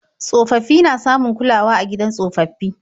Tsofaffi na samun kulawa a gidan tsofaffi.